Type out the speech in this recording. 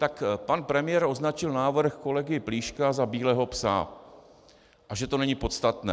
Tak pan premiér označil návrh kolegy Plíška za bílého psa a že to není podstatné.